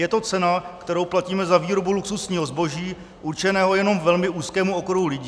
Je to cena, kterou platíme za výrobu luxusního zboží určeného jenom velmi úzkému okruhu lidí.